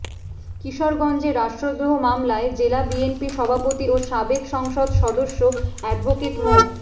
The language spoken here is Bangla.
কিশোরগঞ্জে রাষ্ট্রদ্রোহ মামলায় জেলা বিএনপি সভাপতি ও সাবেক সংসদ সদস্য অ্যাডভোকেট মো